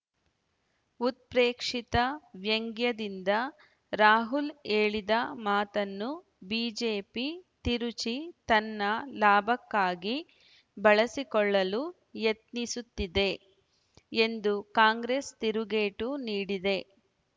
ಉತ್ಪ್ರೇಕ್ಷಿತ ವ್ಯಂಗ್ಯದಿಂದ ರಾಹುಲ್ ಹೇಳಿದ ಮಾತನ್ನು ಬಿಜೆಪಿ ತಿರುಚಿ ತನ್ನ ಲಾಭಕ್ಕಾಗಿ ಬಳಸಿಕೊಳ್ಳಲು ಯತ್ನಿಸುತ್ತಿದೆ ಎಂದು ಕಾಂಗ್ರೆಸ್ ತಿರುಗೇಟು ನೀಡಿದೆ